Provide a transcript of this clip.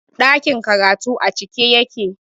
Ɗakin karatun a cike yake